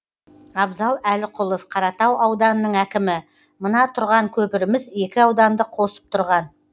абзал әліқұлов қаратау ауданының әкімі мына тұрған көпіріміз екі ауданды қосып тұрған